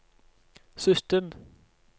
sytten